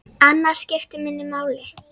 Annað skipti minna máli.